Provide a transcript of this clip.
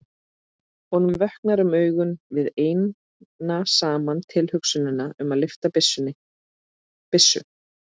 Honum vöknar um augu við eina saman tilhugsunina um að lyfta byssu.